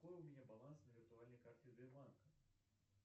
какой у меня баланс на виртуальной карте сбербанка